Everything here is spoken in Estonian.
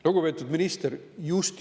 Lugupeetud minister!